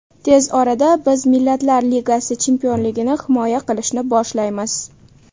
Tez orada biz Millatlar Ligasi chempionligini himoya qilishni boshlaymiz.